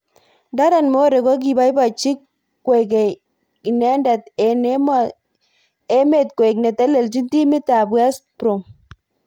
Darren Moore kokiboiboji kekwei inendet eng emetkoek netelejin timit ab West Brom.